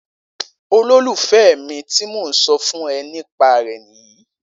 Ololufẹ mí ti mo so fún e ni pa re nìyí